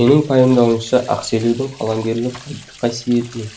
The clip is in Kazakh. менің пайымдауымша ақселеудің қаламгерлік қадір қасиетінің